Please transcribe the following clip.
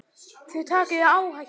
Þér takið áhættu.